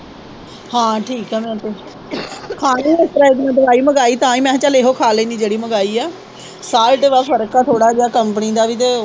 ਹਾਂ ਠੀਕ ਆ ਮੈ ਤੇ ਖਾਣੀ ਉਸਤਰਾ ਅਜੇ ਤਾ ਮੈ ਦਵਾਈ ਮੰਗਾਈ ਤਾ ਹੀ ਮੈ ਕਿਹਾ ਚਲ ਇਹੋ ਖਾ ਲੈਣੀ ਜਿਹੜੀ ਮੰਗਾਈ ਆ ਸਾਲਟ ਵਾ ਫਰਕ ਆ ਥੋੜ੍ਹਾ ਜਿਹਾ ਕੰਪਨੀ ਦਾ ਵੀ ਤੇ।